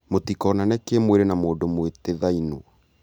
mũtĩkonane kĩmwĩrĩ na mũndũ mũĩtĩthainio